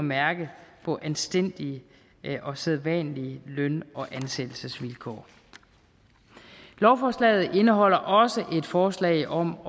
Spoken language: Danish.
mærke på anstændige og sædvanlige løn og ansættelsesvilkår lovforslaget indeholder også et forslag om